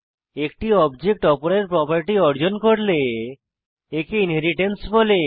একটি অবজেক্ট অপরের প্রোপার্টি অর্জন করলে একে ইনহেরিট্যান্স বলে